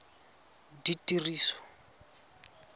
ditiriso